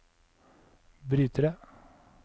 brytere